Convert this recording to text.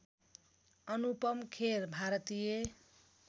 अनुपम खेर भारतीय